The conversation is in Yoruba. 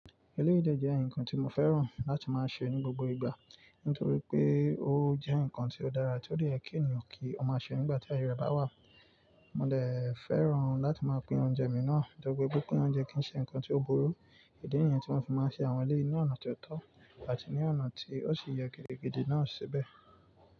Eléyìí de jẹ́ ǹkan tí mo fẹ́ràn láti máa ṣe ní gbogbo ìgbà, nítorí pé ó jẹ́ ǹkan tí ó dára, tí ó de yè kí ènìyàn kí ó máa ṣe nígbà tí ayẹyẹ ọba wà. Mo de fẹ́ràn láti máa pín oúnjẹ mi náà, nitori pin pín oúnjẹ kì í ṣe ǹkan tí ó burú. Idi nìyẹn tí mo fi máa ń ṣe àwọn eléyìí ní ọ̀nà tó tọ́ àti ní ọ̀nà tí ó sì yẹ gẹ́gẹ́ gidi náà ṣe bẹ́ẹ̀.